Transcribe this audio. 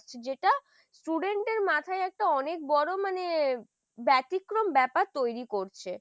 যেটা Student এর মাথায় একটা অনেক বড় মানে ব্যতিক্রম ব্যাপার তৈরি করছে।